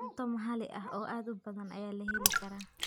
Cunto maxalli ah oo aad u badan ayaa la heli karaa.